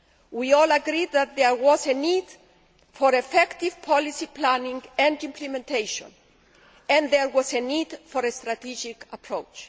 We all agreed that there was a need for effective policy planning and implementation and there was a need for a strategic approach.